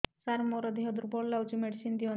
ସାର ମୋର ଦେହ ଦୁର୍ବଳ ଲାଗୁଚି ମେଡିସିନ ଦିଅନ୍ତୁ